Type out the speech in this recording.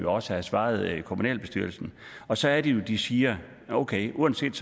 også have svaret kommunalbestyrelsen og så er det jo de siger okay uanset